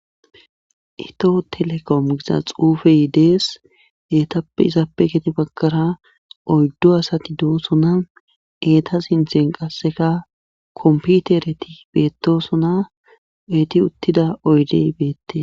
itoho telekom giza xuufeydees eetappe izappe geti bagkara oyddo asati doosona eeta sinthen qasseka komputereti beettosona beeti uttida oydey beette